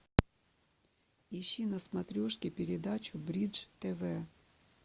ищи на смотрешке передачу бридж тв